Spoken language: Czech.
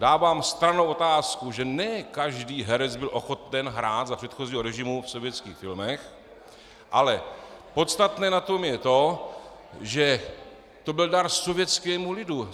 Dávám stranou otázku, že ne každý herec byl ochoten hrát za předchozího režimu v sovětských filmech, ale podstatné na tom je to, že to byl dar sovětskému lidu.